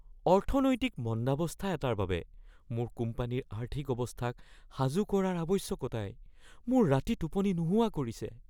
অৰ্থনৈতিক মন্দাৱস্থা এটাৰ বাবে মোৰ কোম্পানীৰ আৰ্থিক অৱস্থাক সাজু কৰাৰ আৱশ্য়কতাই মোৰ ৰাতি টোপনি নোহোৱা কৰিছে।